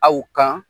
Aw kan